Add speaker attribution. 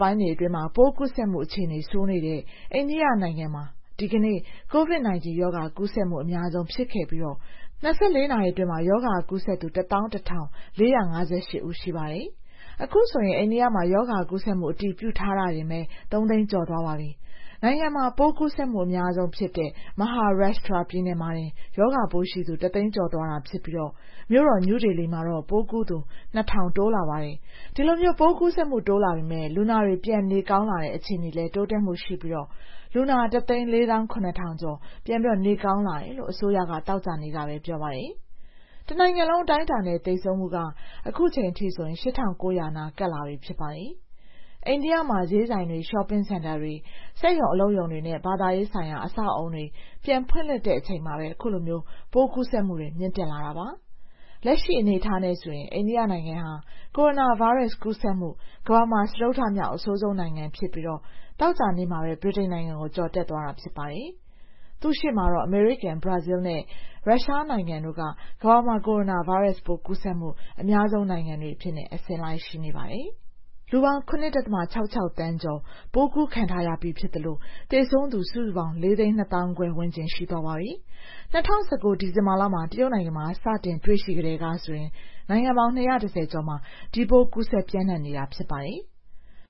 Speaker 1: ပိုင်းတွေအတွင်း COVID-19 ရောဂါကူးစက်မှု အခြေအနေ ဆိုးလာတဲ့ အိန္ဒိယနိုင်ငံမှာ ဒီကနေ့ အများဆုံးဖြစ်ခဲ့ပြီး ၂၄ နာရီအတွင်း ရောဂါကူးစက်သူ ၁၁,၄၅၈ ဦး ရှိပါတယ်။ အခုဆိုရင် အိန္ဒိယမှာ ရောဂါကူးစက်မှု အတည်ပြုထားတာတင်ပဲ ၃ သိန်းကျော်သွားပါပြီ။ နိုင်ငံမှာ ပိုးကူးစက်မှု အများဆုံးဖြစ်တဲ့ Maharashtra ပြည်နယ်မှာတင် ရောဂါပိုးရှိသူ ၁ သိန်းကျော်သွားတာဖြစ်ပြီး မြို့တော် နယူးဒေလီမှာတော့ ပိုးကူးသူ ၂,၀၀၀ တိုးလာပါတယ်။ ဒီလို ပိုးကူးစက်မှု တိုးလာပေမယ့် လူနာတွေ ပြန်နေကောင်းလာတဲ့ အခြေအနေလည်း တိုးတက်မှုရှိပြီး လူနာ ၁၄၇,၀၀၀ ကျော် ပြန်နေကောင်းလာတယ်လို့ အစိုးရက သောကြာနေ့ကပဲ ပြောပါတယ်။ တနိုင်ငံလုံး အတိုင်းအတာနဲ့ သေဆုံးမှုက အခုချိန်ထိဆို ၈,၉၀၀ နား ကပ်လာပြီဖြစ်ပါတယ်။ အိန္ဒိယမှာ ဈေးဆိုင်တွေ၊ ရှော့ပင်းစင်တာတွေ၊ စက်ရုံအလုပ်ရုံတွေနဲ့ ဘာသာရေးဆိုင်ရာ အဆောက်အဦတွေ ပြန်ဖွင့်လှစ်လိုက်တဲ့ အချိန်မှာပဲ အခုလို ပိုးကူးစက်မှုတွေ မြင့်တက်လာတာပါ။ လက်ရှိအနေအထားမှာ အိန္ဒိယနိုင်ငံဟာ ကိုရိုနာဗိုင်းရပ်စ်ကူးစက်မှု ကမ္ဘာမှာ စတုတ္ထမြောက် အဆိုးဆုံးနိုင်ငံဖြစ်ပြီး သောကြာနေ့မှာပဲ ဗြိတိန်နိုင်ငံကို ကျော်တက်သွားတာ ဖြစ်ပါတယ်။ သူ့ရှေ့မှာတော့ အမေရိကန်၊ ဘရာဇီးနဲ့ ရုရှားနိုင်ငံတို့က ကမ္ဘာမှာ ကိုရိုနာဗိုင်းရပ်စ်ပိုး ကူးစက်မှု အများဆုံးနိုင်ငံတွေအဖြစ် အစဉ်လိုက် ရှိနေပါတယ်။ ကမ္ဘာတဝန်းမှာ လူပေါင်း ၇.၆၆ သန်းကျော် ကိုရိုနာဗိုင်းရပ်စ်ပိုး ကူးခံရပြီးဖြစ်သလို သေဆုံးသူစုစုပေါင်း ၄ သိန်း ၂ သောင်းခွဲဝန်းကျင် ရှိသွားပါပြီ။ ၂၀၁၉ ဒီဇင်ဘာလမှာ တရုတ်နိုင်ငံမှာ ရောဂါပိုး စတင်တွေ့ရှိကတည်းကဆို နိုင်ငံပေါင်း ၂၁၀ ကျော်မှာ ဒီပိုး ကူးစက်ပျံ့နှံ့နေတာ ဖြစ်ပါတယ်။